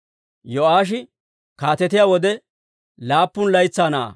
Yo'aashi kaatetiyaa wode laappun laytsaa na'aa.